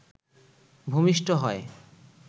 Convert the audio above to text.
ভূমিষ্ঠ হয়